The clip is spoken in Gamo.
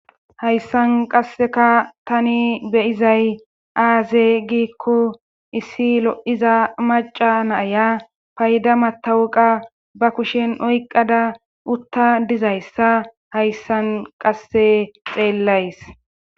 Hayssan qasseka tani beyizay aaze giikko issi lo'iza maca naaya payda matawuqa ba kushen oyqada utta dizayssa hayssan qasse xeellays.